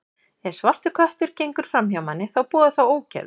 Ef svartur köttur gengur fram hjá manni, þá boðar það ógæfu.